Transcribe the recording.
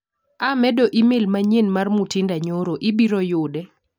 Amedo imel manyien mar Mutinda nyoro ibiro yude.